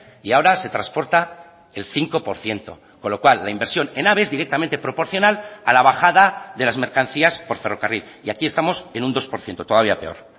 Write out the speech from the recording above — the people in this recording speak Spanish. y ahora se transporta el cinco por ciento con lo cual la inversión en ave es directamente proporcional a la bajada de las mercancías por ferrocarril y aquí estamos en un dos por ciento todavía peor